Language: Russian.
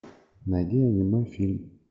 найди аниме фильм